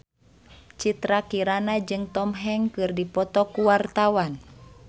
Citra Kirana jeung Tom Hanks keur dipoto ku wartawan